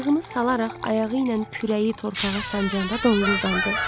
Ağırlığını salaraq ayağı ilə kürəyi torpağa sancanda donquldandı.